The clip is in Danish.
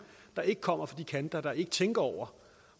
der ikke kommer fra de kanter der ikke tænker over